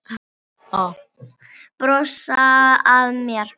Brosa að mér!